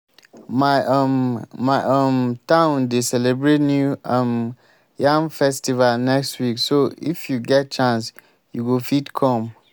my um my um town dey celebrate new um yam festival next week so if you get chance you go fit come